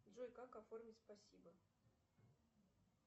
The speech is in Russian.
джой как оформить спасибо